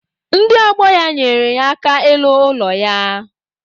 Ndị ọgbọ ya nyere ya aka ịlụ ụlọ ya.